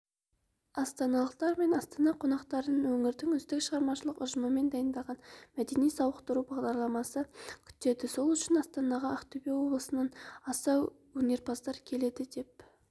астаналықтар мен астана қонақтарын өңірдің үздік шығармашылық ұжымымен дайындалған мәдени-сауықтыру бағдарламасы күтеді сол үшін астанаға ақтөбе облысынан аса өнерпаздар келеді деп